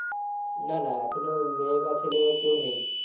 না না এখনো মেয়ে বা ছেলে ওর কেউ নেই।